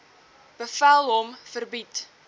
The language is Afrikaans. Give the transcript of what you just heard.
bevel hom verbied